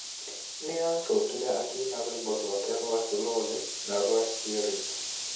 Nĩ acokire akĩina rwĩmbo rwake rwa 'Slowly' na rwa 'Spirit'.